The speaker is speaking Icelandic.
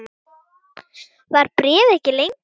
Var bréfið ekki lengra?